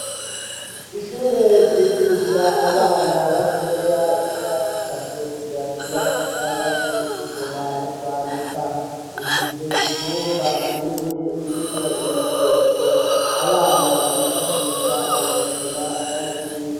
Ishure ryigisha abana batoya b'imyaka itatu kuja ku myaka itandatu gusoma no kwandika imfise ivyumba binini birimwo ibikoresho abana bifashisha mu gukina no mu kwigwa.